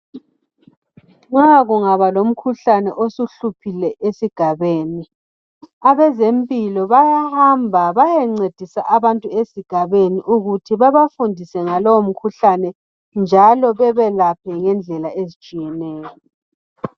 Nxa kungaba lomkhuhlane osuhluphile esigabeni abezempilo bayahamba bayencedisa abantu esigabeni ukuthi babafundise ngalo umkhuhlane njalo bebelaphe ngendlela ezitshiyeneyo.